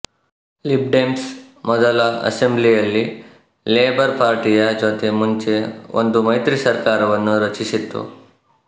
Lib Dems ಮೊದಲ ಅಸೆಂಬ್ಲಿಯಲ್ಲಿ Labour ಪಾರ್ಟಿಯ ಜೊತೆ ಮುಂಚೆ ಒಂದು ಮೈತ್ರಿ ಸರಕಾರವನ್ನು ರಚಿಸಿತ್ತು